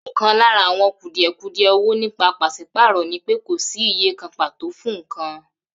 Ò̩kan lára àwo̩n kùdìè̩kudie̩ ò̩wò̩ nípa pàs̩ípàrò̩ ni pé kò sí iye kan pàtò fún nǹkan